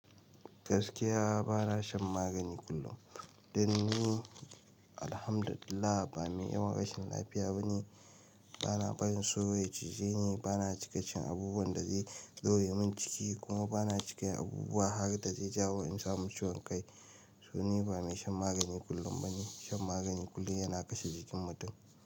Gaskiya ba na shan magani kullum. Dan ni alhamdulillah ba mai yawan rashin lafiya bane. Ba na barin souro ya cije ni, ba na cika cin abubuwan da zai daure min ciki kuma ba na cika yin abubuwa harda zai jawo in samu ciwon kai. So ni ba mai shan magani kullum bane. Shan magani kullum yana kashe jikin mutum.